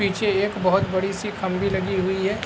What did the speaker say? पीछे एक बोहोत बड़ी-सी खंबी लगी हुई है।